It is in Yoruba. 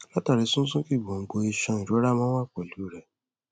látàrí sísúnkì gbòǹgbò iṣan ìrora máa ń wá pẹlú u rẹ